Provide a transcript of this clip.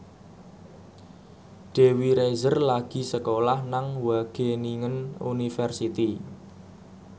Dewi Rezer lagi sekolah nang Wageningen University